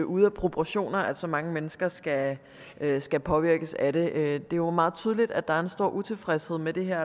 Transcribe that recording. ude af proportioner at så mange mennesker skal skal påvirkes af det det er jo meget tydeligt at der er en stor utilfredshed med det her